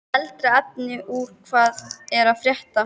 Eldra efni úr Hvað er að frétta?